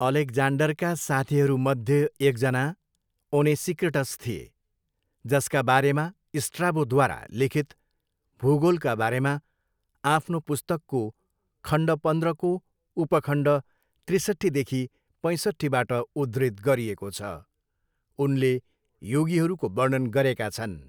अलेक्जान्डरका साथीहरूमध्ये एकजना ओनेसिक्रिटस थिए, जसका बारेमा स्ट्राबोद्वारा लिखित भूगोलका बारेमा आफ्नो पुस्तकको खण्ड पन्ध्रको उपखण्ड त्रिसट्ठीदेखि पैँसट्ठीबाट उद्धृत गरिएको छ, उनले योगीहरूको वर्णन गरेका छन्।